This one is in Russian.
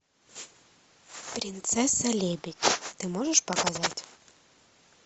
принцесса лебедь ты можешь показать